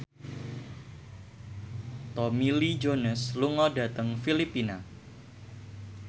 Tommy Lee Jones lunga dhateng Filipina